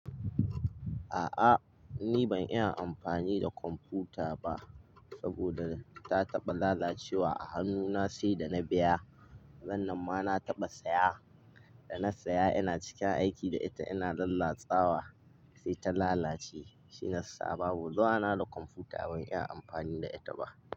A'a ni ban iya amfani da kwamfuta ba saboda ta taɓa lalacewa a hannuna sai da na biya. Nan da ma na taɓa saya, da na saya ina cikin aiki da ita ina lalatsawa sai ta lalace. Shi na saba, ba zuwa na da kwamfuta ban iya amfani da ita ba.